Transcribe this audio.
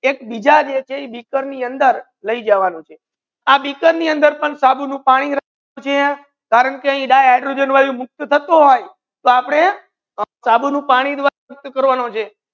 એક બીજા જે છે ઇ બીકર ની અંદર લઈ જવાનુ છે આ બિકર ની અંદર પણ સાબુ નુ પાની છે કારણ કે di hydrogen વાયુ મુક્ત થતુ હોય તો આપડે સાબુ નુ પાની મુક્ત કરવાનો છે.